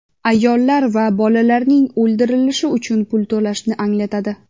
ayollar va bolalarning o‘ldirilishi uchun pul to‘lashni anglatadi.